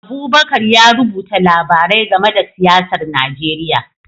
Abubakar ya rubuta labarai game da siyasar Najeriya